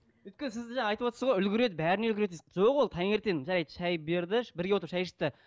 өйткені сіз жаңа айтып отырсыз ғой үлгереді бәріне үлгереді дейсіз жоқ ол таңертең жарайды шай берді бірге отырып шай ішті